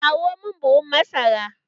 Kawo mun buhun masara!